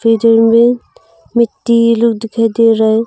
मिट्टी येलो दिखाई दे रहा है।